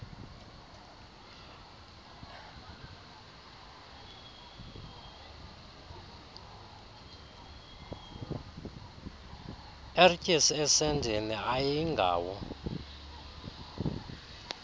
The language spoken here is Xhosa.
ertyis esendeni ayingawo